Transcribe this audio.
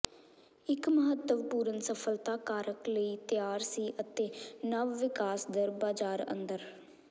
ਇੱਕ ਮਹੱਤਵਪੂਰਨ ਸਫਲਤਾ ਕਾਰਕ ਲਈ ਤਿਆਰ ਸੀ ਅਤੇ ਨਵ ਵਿਕਾਸ ਦਰ ਬਾਜ਼ਾਰ ਅੰਦਰ